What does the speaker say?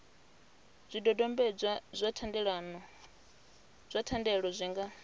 zwidodombedzwa zwa thendelo zwi nga